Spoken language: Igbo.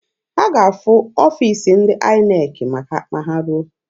Ha ga-ahụ ọfiisi ndị INEC ma ha ruo.